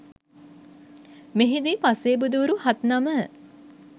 මෙහිදී පසේබුදුවරු හත් නම